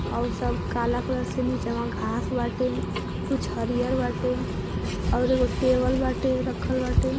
अउर सब काला क्लर से नीचवा घांस बाटे कुछ हरियर बाटे और एगो टेबल बाटे रखल बाटे।